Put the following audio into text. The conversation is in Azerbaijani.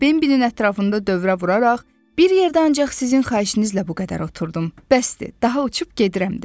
O Bimbinin ətrafında dövrə vuraraq, bir yerdə ancaq sizin xahişinizlə bu qədər oturdum, bəsdir, daha uçub gedirəm dedi.